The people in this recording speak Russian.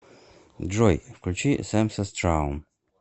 джой включи самсас траум